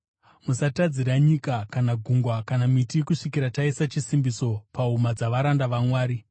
“Musatadzira nyika kana gungwa kana miti kusvikira taisa chisimbiso pahuma dzavaranda vaMwari.”